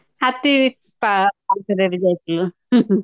ହାତୀ ବସିଥିଲୁ